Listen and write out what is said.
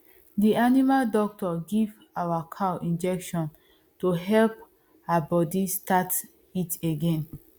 the animal doctor give our cow injection to help her body start heat again